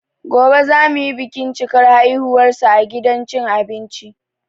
Goɓe za mu yi bikin cikar haihuwarsa a gidan cin abinci.